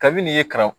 Kabini ye karamɔgɔ